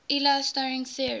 iia string theory